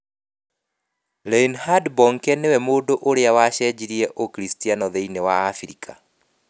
Reinhard Bonnke nĩwe mũndũ ũrĩa wacenjirie Ũkiricitiano thĩinĩ wa Abirika